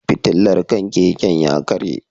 Fitilar kan keken ya karye.